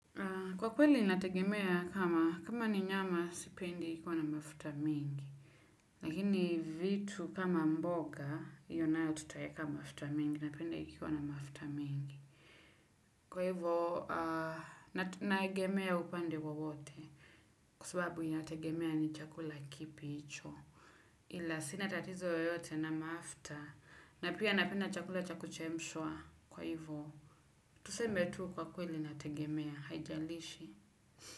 Kwa kweli inategemea kama kama ni nyama sipendi ikiwa na mafuta mingi. Lakini vitu kama mboga hiyo nayo tutaweka mafuta mingi, napenda ikiwa na mafuta mingi. Kwa hivyo, natu nagemea upande wowote kwa sababu inategemea ni chakula kipi hicho. Ila sina tatizo yoyote na mafuta na pia napenda chakula cha kuchemshwa. Kwa hivo, tuseme tu kwa kweli nategemea haijalishi.